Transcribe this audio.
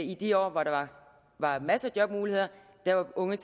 i de år hvor der var masser af jobmuligheder var unge